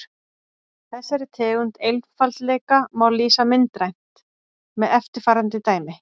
Þessari tegund einfaldleika má lýsa myndrænt með eftirfarandi dæmi.